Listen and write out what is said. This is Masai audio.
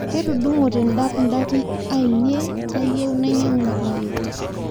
Ketudungote ndap ndapi ainie kayieu nainyangu nkule